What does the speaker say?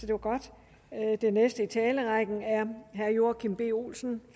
det var godt den næste i talerrækken er herre joachim b olsen